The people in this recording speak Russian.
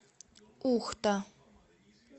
ухта